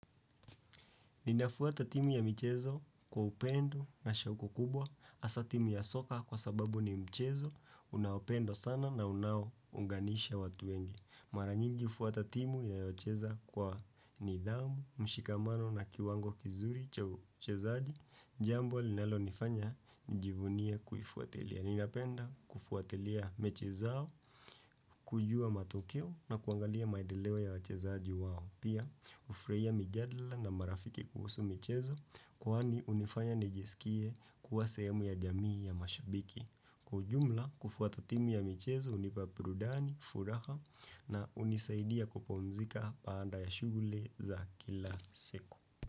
Ninafuata timu ya michezo kwa upendo na shauku kubwa, asa timu ya soka kwa sababu ni michezo, unaupendwa sana na unao unganisha watu wengi. Maranyingi ufuata timu inayocheza kwa nidhamu, mshikamano na kiwango kizuri cha uchezaaji, jambo linalo nifanya njivunia kufuatelia. Yanina penda kufuatelia mechi zao, kujua matokeo na kuangalia maidelewa ya wachezaji wao. Pia, ufurahia mijadla na marafiki kuhusu mechezo kuhani unifanya nijisikie kuwa sehemu ya jamii ya mashabiki. Kujumla, kufuatotimu ya mechezo unipa burudani, furaha na unisaidia kupumzika baanda ya shughuli za kila siku.